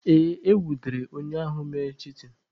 Ee, e nwudere onye ahụ mere chitin.